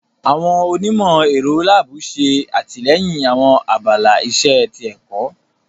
Awọn onimọ-ẹrọ laabu ṣe atilẹyin awọn abala iṣe ti ẹkọ.